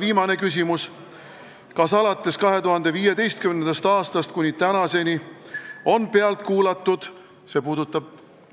Viimane küsimus: kas alates 2015. aastast kuni tänaseni on pealt kuulatud – see puudutab,